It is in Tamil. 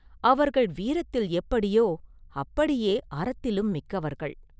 அவர்கள் வீரத்தில் எப்படியோ, அப்படியே அறத்திலும் மிக்கவர்கள்.